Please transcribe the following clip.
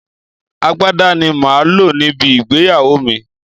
Agbádá ni màá lò níbi ìgbéyàwó mi